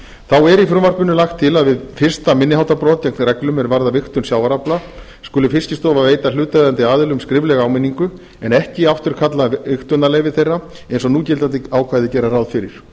þá er í frumvarpinu lagt er til að við fyrsta minni háttar brot gegn reglum er varða vigtun sjávarafla skuli fiskistofa veita hlutaðeigandi aðilum skriflega áminningu en ekki afturkalla vigtunarleyfi þeirra eins og núgildandi ákvæði gera ráð fyrir